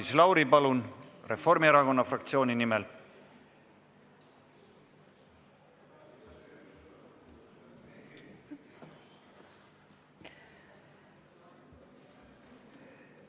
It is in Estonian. Maris Lauri, palun, Reformierakonna fraktsiooni nimel!